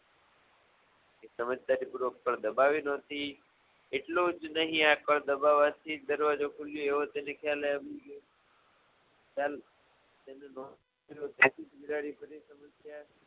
દબાવે નહોતી એટલુ જ નહીં આ કળ દબાવાથી દરવાજો ખૂલ્યો એવો તેને ખ્યાલ આયો